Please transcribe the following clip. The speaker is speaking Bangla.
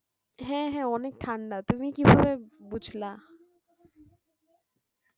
হ্যাঁ হ্যাঁ অনেক ঠান্ডা তুমি কি ভাবে বুঝলা?